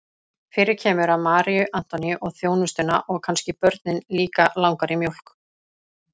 Fyrir kemur að Maríu Antoníu og þjónustuna og kannski börnin líka langar í mjólk.